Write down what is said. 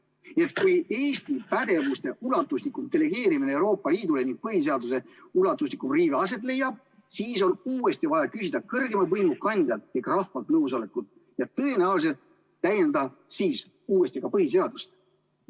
Nii et kui Eesti pädevuse ulatuslikum delegeerimine Euroopa Liidule ning põhiseaduse ulatuslikum riive aset leiab, siis on uuesti vaja küsida kõrgeima võimu kandjalt ehk rahvalt nõusolekut ja tõenäoliselt täiendada uuesti ka põhiseadust.